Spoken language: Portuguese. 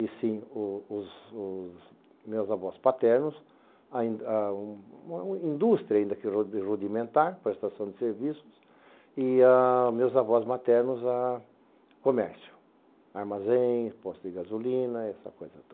E sim os os os meus avós paternos, a a indústria ainda rudi rudimentar, prestação de serviços, e meus avós maternos a comércio, armazém, exposto de gasolina, essa coisa toda.